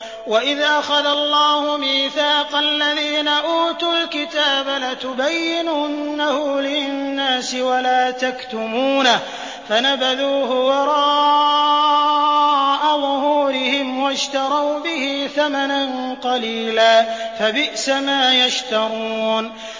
وَإِذْ أَخَذَ اللَّهُ مِيثَاقَ الَّذِينَ أُوتُوا الْكِتَابَ لَتُبَيِّنُنَّهُ لِلنَّاسِ وَلَا تَكْتُمُونَهُ فَنَبَذُوهُ وَرَاءَ ظُهُورِهِمْ وَاشْتَرَوْا بِهِ ثَمَنًا قَلِيلًا ۖ فَبِئْسَ مَا يَشْتَرُونَ